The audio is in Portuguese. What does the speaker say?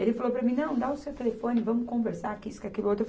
Ele falou para mim, não, dá o seu telefone, vamos conversar, que isso, que aquilo outro.